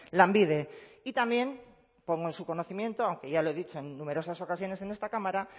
lanbide y también pongo en su conocimiento aunque ya lo he dicho en numerosas ocasiones en esta cámara